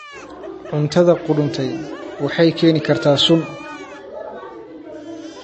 Cuntada qudhuntay waxay keeni kartaa sun.